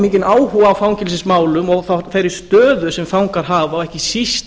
mikinn áhuga á fangelsismálum og þeirri stöðu sem fangar hafa og ekki síst